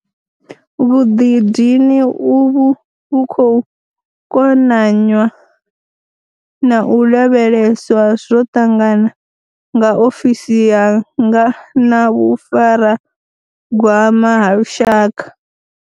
Vhuḓidini uvhu vhu khou konanywa na u lavheleswa zwo ṱangana nga ofisi yanga na vhufaragwama ha lushaka.